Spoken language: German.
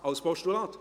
Über ein Postulat.